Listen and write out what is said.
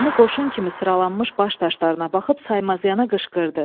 Nizami qoşun kimi sıralanmış baş daşlarına baxıb saymazana qışqırdı.